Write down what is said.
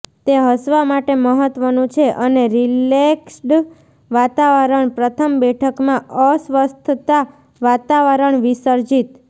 તે હસવા માટે મહત્વનું છે અને રિલેક્સ્ડ વાતાવરણ પ્રથમ બેઠકમાં અસ્વસ્થતા વાતાવરણ વિસર્જિત